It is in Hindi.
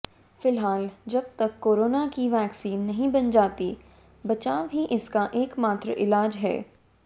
फिलहाल जब तक कोरोना की वैक्सीन नहीं बन जाती बचाव ही इसका एकमात्र इलाज है